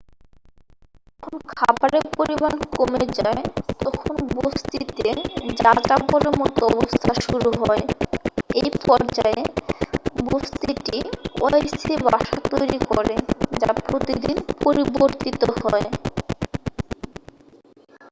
যখন খাবারের পরিমাণ কমে যায় তখন বসতিতে যাযাবরের মতো অবস্থা শুরু হয় এই পর্যায়ে বসতিটি অস্থায়ী বাসা তৈরি করে যা প্রতিদিন পরিবর্তিত হয়